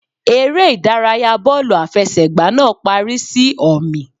Eré ìdárayá bọ́ọ̀lù àfẹsẹ̀gbá náà parí sí ọ̀mì.